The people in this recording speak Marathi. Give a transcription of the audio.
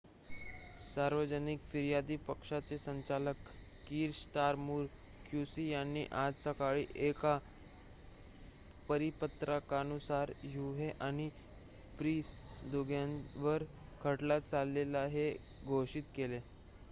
सार्वजनिक फिर्यादी पक्षाचे संचालक कीर स्टारमर क्यूसी यांनी आज सकाळी एका परिपत्रकानुसार हुह्ने आणि प्रीस दोघांच्यावरही खटला चालेल हे घोषित केले